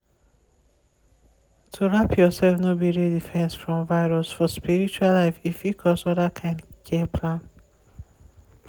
to wrap yourself no be real defense from virus for spiritual life e fit cause other kind care plan.